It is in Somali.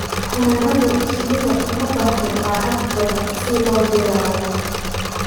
Xannaanada shinni uma baahna lacag badan si loo bilaabo.